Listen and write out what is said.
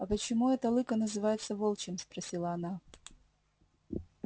а почему это лыко называется волчьим спросила она